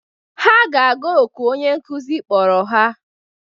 Ha ga-aga oku onye nkuzi kpọrọ ha.